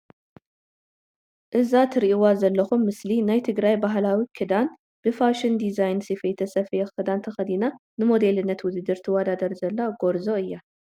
እዛ ትርኢዋ ዘለኩም ምስሊ ናይ ትግራይ ባህላዊ ክዳን ብፋሽን ድዛይን ስፌት ዝተሰፈየ ክዳን ተከዲና ንሞዴልነት ውድድር ትዋዳደር ዘላ ጎርዞ እያ።